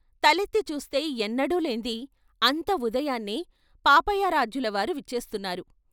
తలెత్తి చూస్తే ఎన్నడూలేంది అంత ఉదయాన్నే పాపయారాధ్యులవారు విచ్చేస్తున్నారు.